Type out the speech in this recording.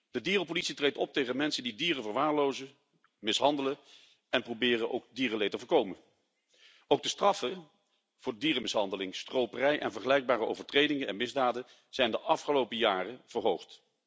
De dierenpolitie treedt op tegen mensen die dieren verwaarlozen en mishandelen, en proberen ook dierenleed te voorkomen. Ook de straffen voor dierenmishandeling, stroperij en vergelijkbare overtredingen en misdaden zijn de afgelopen jaren verhoogd.